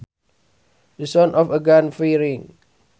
The sound of a gun firing